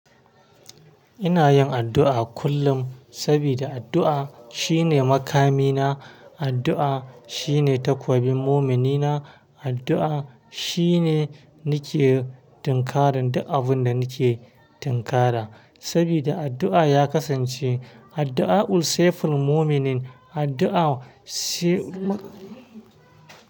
Ina yin addu'a kullum sabida addu'a shine makamina, addu'a shine takobin muminina, addu'a shine nike tinkarin duk abun da nike tinkara sabida addu'a ya kasance addu'a ul saife ul mumini addu'a si ma.